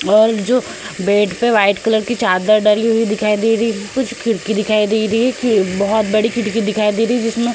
और जो बेड पे व्हाइट कलर की चादर डली हुई दिखाई दे रही। कुछ खिड़की दिखाई दे रही। बहोत बड़ी दिखाई दे रही जिसमें --